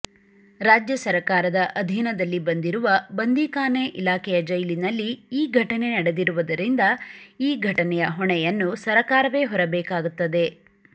ರಾಜ್ಯ ಸರಕಾರದ ಅಧೀನದಲ್ಲಿ ಬರುವ ಬಂದೀಖಾನೆ ಇಲಾಖೆಯ ಜೈಲಿನಲ್ಲಿ ಈ ಘಟನೆ ನಡೆದಿರುವುದರಿಂದ ಈ ಘಟನೆಯ ಹೊಣೆಯನ್ನು ಸರಕಾರವೇ ಹೊರಬೇಕಾಗುತ್ತದೆ